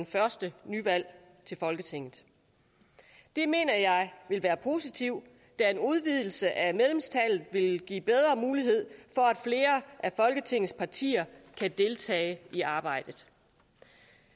første nyvalg til folketinget det mener jeg vil være positivt da en udvidelse af medlemstallet vil give bedre mulighed for at flere af folketingets partier kan deltage i arbejdet